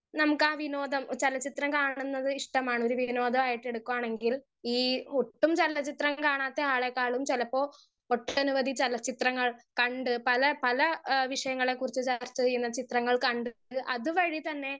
speaker 1 നമ്മുക്ക് ആ വിനോദം ചെലചിത്രം കാണുന്നത് ഇഷ്ട്ടമാണ് ഒരു വിനോദായിട്ട് എടുക്കവാണെങ്കിൽ ഈ ഒട്ടും ചെലചിത്രം കാണാത്ത ആളെക്കാളും ചെലപ്പോ ഒട്ടനവധി ചെലച്ചിത്രങ്ങൾ കണ്ട് പല പല ഏഹ് വിഷയങ്ങളെ കുറിച്ച് ചർച്ച ചെയുന്ന ചിത്രങ്ങൾ കണ്ടിട്ട് അത് വഴി തന്നെ